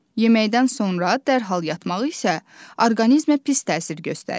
Yeməkdən sonra dərhal yatmaq isə orqanizmə pis təsir göstərir.